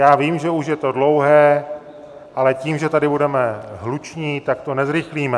Já vím, že už je to dlouhé, ale tím, že tady budeme hluční, tak to nezrychlíme.